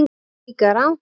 Það er líka rangt.